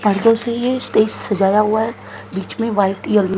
पर्दों से ये स्टेज सजाया हुआ है बीच में व्हाइट येलो --